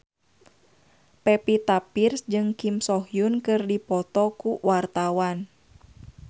Pevita Pearce jeung Kim So Hyun keur dipoto ku wartawan